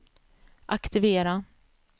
aktivera